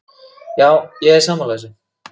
Já, ég er sammála þessu.